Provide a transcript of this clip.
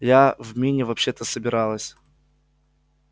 я в мини вообще-то собиралась